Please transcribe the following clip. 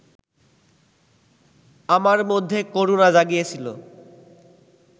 আমার মধ্যে করুণা জাগিয়েছিল